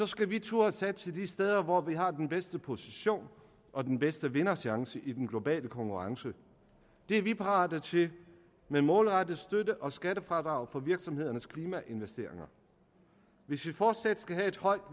skal vi turde satse de steder hvor vi har den bedste position og den bedste vinderchance i den globale konkurrence det er vi parate til med målrettet støtte og skattefradrag for virksomhedernes klimainvesteringer hvis vi fortsat skal have et højt